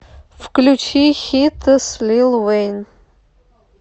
включи хитас лил вейн